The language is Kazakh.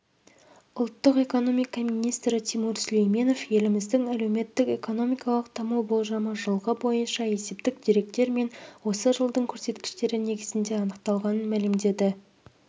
ұлттық экономика министрі тимур сүлейменов еліміздің әлеуметтік-экономикалық даму болжамы жылғы бойынша есептік деректер мен осы жылдың көрсеткіштері негізінде анықталғанын мәлімдеді